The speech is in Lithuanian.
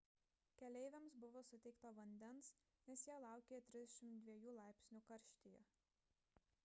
keleiviams buvo suteikta vandens nes jie laukė 32 laipsnių karštyje